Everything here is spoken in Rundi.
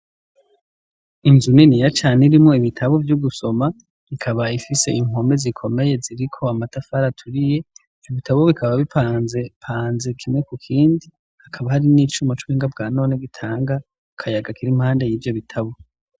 inzu niniya cane irimwo ibitabo vyo gusoma ikaba ifise inkome zikomeye ziri ko amatafari aturiye ibitabo bikaba bipanze panze kimwe ku kindi hakaba harimwo icuma cubuhinga bwa none gitanga akayaga kira impande y'ivyo bitabo